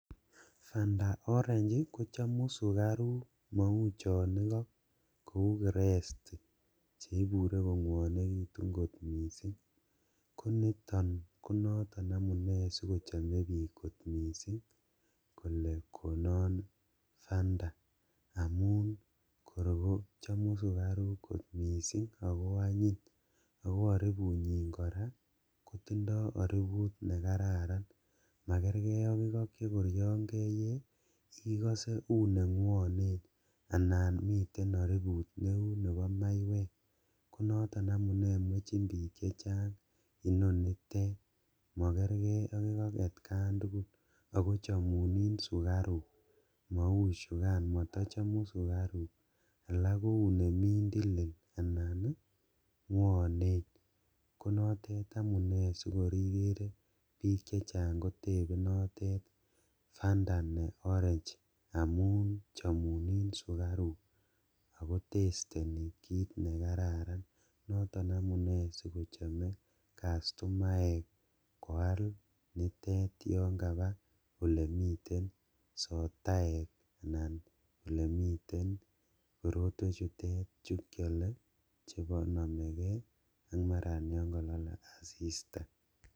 Fanta orange kochamu sugaruk mau chon igo kou Krest che ibure kongwonegitu kot mising konoton amune sikochome biik kot mising kole konon Fanta amun kor kochachamu sugaruk kot mising ago anyiny ago aripunyin kora kotindo ariput nekararan. Makerke ak igo chekor keyee igose u nengwonen anan miten ariput neu nebo maiywek. Koniton amune mwechin biik chechang inonitet. Makerge ak igo atkan tugul ago chamunin sugaruk mauchugan matachamu sugaruk. Alak kou ne mindilil, ngwonen. Konotet amune sigor igere biik chechang kotepe notet Fanta ne Orange amun chamunin sugaruk ago testeni kit nekararan. Noton amune sikochame kastomaek koal nitet yon kaba olemiten sotaek anan olemiten korotwe chutet chekiale chenomege ak marayonkalale asista.